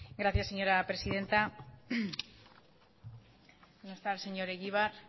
gracias señora presidenta no está el señor egibar